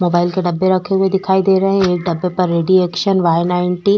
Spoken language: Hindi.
मोबाइल के डब्बे रखे हुए दिखाई दे रहे हैं एक डब्बे पर रेडी एक्शन व्हाई नाईटी --